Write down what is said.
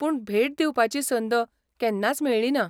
पूण भेट दिवपाची संद केन्नाच मेळ्ळीना.